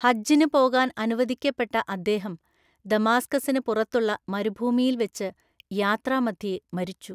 ഹജ്ജിന് പോകാൻ അനുവദിക്കപ്പെട്ട അദ്ദേഹം ദമാസ്കസിന് പുറത്തുള്ള മരുഭൂമിയിൽ വെച്ച് യാത്രാമധ്യേ മരിച്ചു.